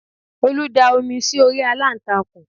Olú da omi sí orí aláǹtakùn